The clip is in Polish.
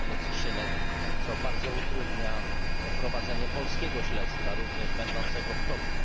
czarnych skrzynek, co bardzo utrudnia prowadzenie polskiego śledztwa, również będącego w toku.